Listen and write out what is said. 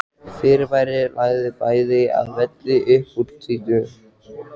Fyrirbærið lagði bæði að velli upp úr tvítugu.